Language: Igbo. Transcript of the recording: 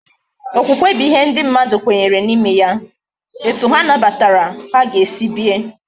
Okwukwe bu ihe ndi mmadu kwenyere na ime ya. Etu ha nabatara ha ga esi bie